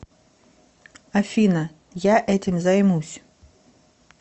афина я этим займусь